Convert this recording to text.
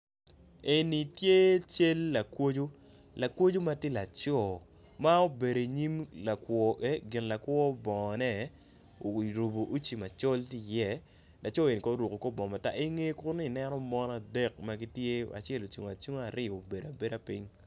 Eni ye cal lakwoco lakwaco matye laco ma obedo i nyim gin lakwo bongo ne oruko wuci macol ki ye laco kono oruko kor bongo matar inge kunu ineno mon adek magitye acel ocungo acunga aryo obeda abeda ping.